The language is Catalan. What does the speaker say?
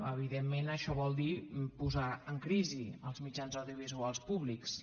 evidentment això vol dir posar en crisi els mitjans audiovisuals públics